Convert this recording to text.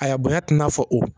A bonya tɛ i n'a fɔ o